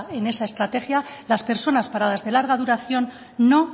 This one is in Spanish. en esa estrategia las personas para las de larga duración no